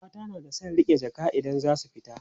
mata na da San riƙe Jaka idan zasu fita